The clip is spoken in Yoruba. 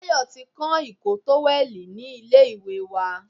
Tayo ti kán ìkọ́ tówẹ̀lì ni ilé ìwẹ̀ wa.